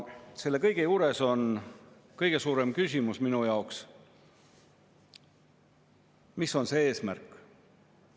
Selle kõige juures on minu jaoks kõige suurem küsimus, mis on selle eesmärk.